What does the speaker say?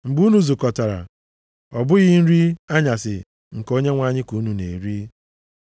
Mgbe unu zukọtara, ọ bụghị nri anyasị nke Onyenwe anyị ka unu na-eri.